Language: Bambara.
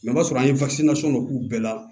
o b'a sɔrɔ an ye k'u bɛɛ la